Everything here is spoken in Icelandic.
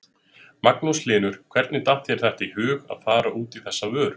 Magnús Hlynur: Hvernig datt þér þetta í hug að fara út í þessa vöru?